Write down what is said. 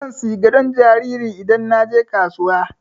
Zan saya gadon jariri idan na je kasuwa.